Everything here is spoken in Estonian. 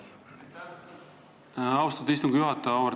Aitäh, austatud istungi juhataja!